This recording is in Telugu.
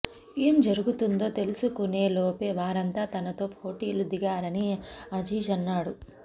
ఏం జరుగుతుందో తెలుసుకునేలోపే వారంతా తనతో ఫొటోలు దిగారని అజీజ్ అన్నాడు